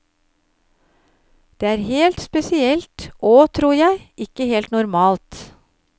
Det er helt spesielt og, tror jeg, ikke helt normalt.